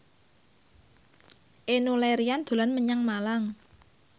Enno Lerian dolan menyang Malang